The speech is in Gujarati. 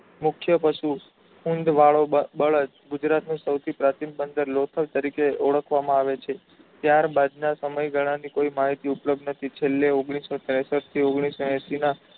મુખ્ય પશુ ખૂંદ વાળો બ બળદ ગુજરાતનું સૌથી પ્રાચીન બંદર લોથલ તરીકે ઓળખવામાં આવે છે. ત્યારબાદ ના સમયગાળા ની કોઈ મહિતી ઉપલબ્ધ નથી છેલ્લે ઓગનીશો તેરસઠ થી ઓગનીશો એશિના